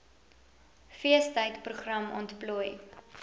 feestyd program ontplooi